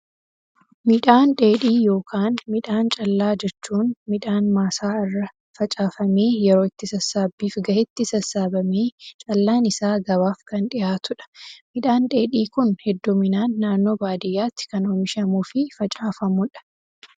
Midhaan dheedhii yookaan midhaan callaa jechuun, midhaan maasaa irra facaafamee, yeroo itti sassaabbiif gahetti sassaabamee callaan isaa gabaaf kan dhihaatudha. Midhaan dheedhii Kun hedduminaan naannoo baadiyyaatti kan oomishamuu fi facaafamudha.